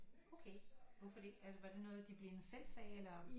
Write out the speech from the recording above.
Okay hvorfor det altså var det noget de blinde selv sagde eller